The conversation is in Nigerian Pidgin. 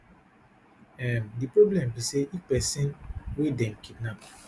um di problem be say if pesin wey dem kidnap